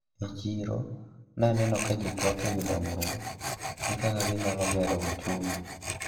E chiro naneno ka jitwak ewi dongruok gi kaka ginyalo gero uchumi.